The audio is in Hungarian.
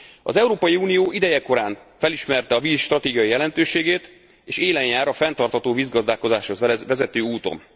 Az Európai Unió idejekorán felismerte a víz stratégiai jelentőségét, és élen jár a fenntartható vízgazdálkodáshoz vezető úton.